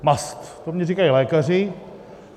Mast, to mně říkají lékaři.